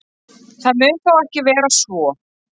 Það mun þó ekki vera svo.